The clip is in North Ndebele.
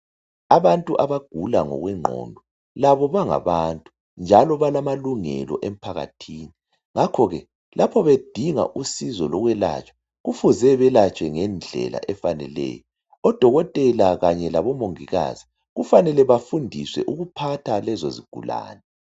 Abantu abagula ngokwengqondo labo bangabantu njalo balamalungelo emphakathini ngakho ke lapho bedinga usizo lokwelatshwa kufuze belatshwe ngedlela efaneleyo. Odokotela kanye labomongikazi kufanele bafundiswe ukuphatha lezo zigulane.